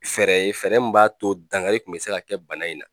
Fɛɛrɛ ye fɛɛrɛ min b'a to dangari kun bɛ se ka kɛ bana in na.